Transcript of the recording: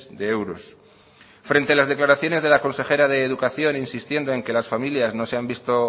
de euros frente a las declaraciones de la consejera de educación insistiendo en que las familias no se han visto